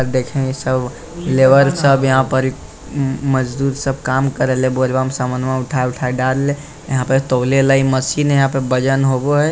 देखें इ सब लेबर सब यहां पर उम्म मजदूर सब काम कर रहले बोझबा में सामान सब उठा उठा दे रहले यहां पर तोले ले इ मशीन हेय यहां पर वजन होबो हेय।